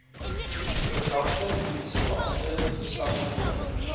verdagte polisiebeampte gestasioneer